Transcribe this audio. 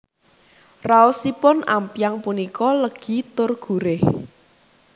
Raosipun ampyang punika legi tur gurih